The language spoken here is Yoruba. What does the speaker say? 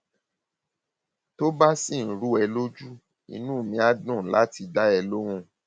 tó bá ṣì ń rú ẹ ẹ lójú inú mi á dùn láti dá ẹ lóhùn